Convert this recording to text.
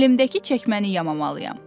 Əlimdəki çəkməni yamamalıyam.